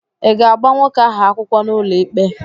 Ị ga-agba nwoke ahụ akwụkwọ n'ụlọikpe?